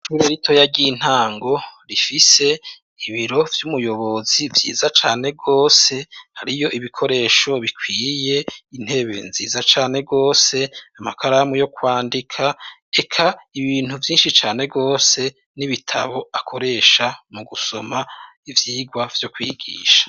Ishure ritoya ry'intango rifise ibiro vy'umuyobozi vyiza cane gose, hariyo ibikoresho bikwiye, intebe nziza cane gose, amakaramu yo kwandika, eka ibintu vyinshi cane gose n'ibitabo akoresha mu gusoma ivyigwa vyo kwigisha.